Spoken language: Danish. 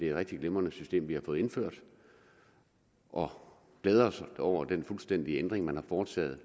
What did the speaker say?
rigtig glimrende system vi har fået indført og glæder os over den fuldstændige ændring man har foretaget